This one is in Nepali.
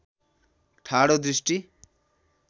ठाडो दृष्टि